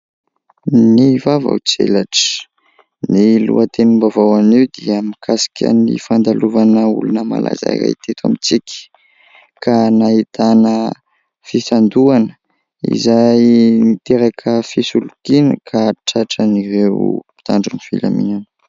Ny vaovao tselatra ! Ny lohatenim-baovao anio dia mikasika ny fandalovana olona malaza iray teto amintsika, ka nahitana fisandohana izay niteraka fisolokiana ka tratran'ireo mpitandro ny filaminana.